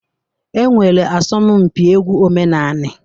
E nwere asọmụmpị egwu omenanị.